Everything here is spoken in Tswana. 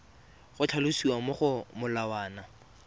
go tlhalosiwa mo go molawana